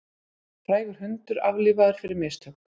Frægur hundur aflífaður fyrir mistök